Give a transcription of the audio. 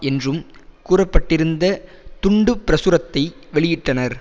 என்றும் கூற பட்டிருந்த துண்டுப்பிரசுரத்தை வெளியிட்டனர்